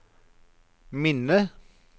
minne